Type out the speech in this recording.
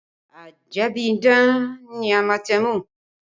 Ajẹ́bíidán ni amatẹmù